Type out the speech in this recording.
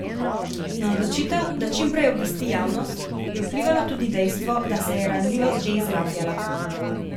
Na odločitev, da čim prej obvesti javnost, je vplivalo tudi dejstvo, da se je ranljivost že izrabljala.